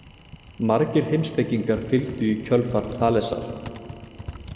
Margir heimspekingar fylgdu í kjölfar Þalesar.